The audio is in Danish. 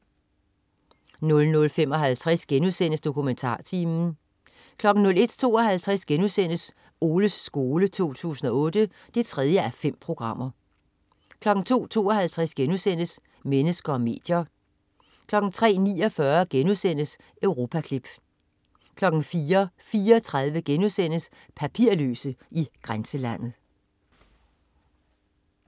00.55 DokumentarTimen* 01.52 Oles skole 2008 3:5* 02.52 Mennesker og medier* 03.49 Europaklip* 04.34 Papirløse i grænselandet*